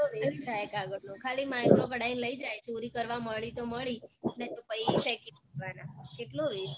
કેટલો west થાય કાગળનો ખાલી micro કઢાઈને લઇ જય છે ચોરી કરવા મળી તો મળી નઈ તો પહી ફેકી દેવાનાં કેટલો west થાય